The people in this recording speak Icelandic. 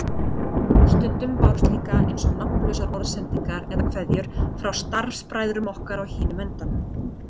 Stundum bárust líka eins og nafnlausar orðsendingar eða kveðjur frá starfsbræðrum okkar á hinum endanum.